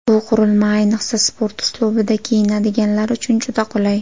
Bu qurilma, ayniqsa sport uslubida kiyinadiganlar uchun juda qulay.